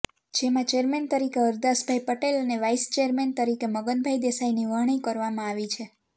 જેમાં ચેરમેન તરીકે હરદાસભાઇ પટેલ અને વાઇસ ચેરમેન તરીકે મગનભાઇ દેસાઇની વરણી કરવામાં આવી છે